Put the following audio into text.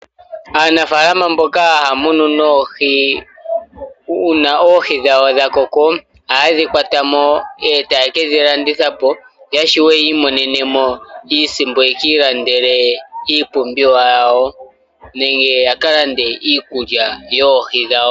Aanafaalama mboka haamunu noohi uuna oohi dhawo dhakoko ohaye dhi kwatamo etayeke dhi landithapo yashiwe yekiimonenemo iisimpo yekiilandele iipumbiwa yawo nenge yakalande iikulya yoohi dhawo.